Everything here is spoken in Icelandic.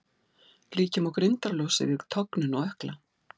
Líkja má grindarlosi við tognun á ökkla.